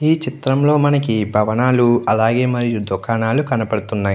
ఈ చిత్రంలో మనకి భవనాలు అలాగే మరియు దుకాణాలు కనబడుతూ ఉన్నాయి.